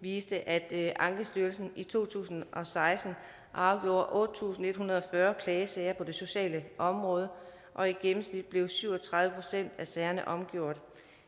viste at ankestyrelsen i to tusind og seksten afgjorde otte tusind en hundrede og fyrre klagesager på det sociale område og i gennemsnit blev syv og tredive procent af sagerne omgjort